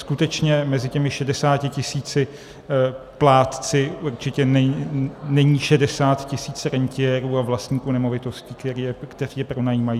Skutečně mezi těmi 60 tisíci plátci určitě není 60 tisíc rentiérů a vlastníků nemovitostí, kteří je pronajímají.